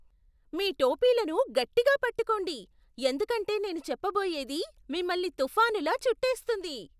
మీ టోపీలను గట్టిగా పట్టుకోండి, ఎందుకంటే నేను చెప్పబోయేది మిమ్మల్ని తుఫానులా చుట్టేస్తుంది.